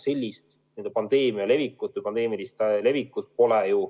Sellist pandeemiat, pandeemilist levikut ei ole ju